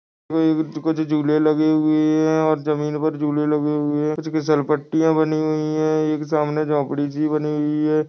कुछ-कुछ झूले लगे हुए है और जमीन पर झूले लगे हुए है कुछ सरपट्टियाँ बनी हुई है एक सामने झोपड़ी सी बनी हुई है ।